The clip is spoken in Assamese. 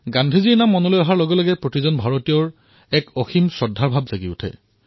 শাস্ত্ৰীজীৰ নাম মনলৈ অহাৰ লগে লগেই ভাৰতবাসীৰ মনত এক শ্ৰদ্ধাৰ ভাৱ জাগি উঠে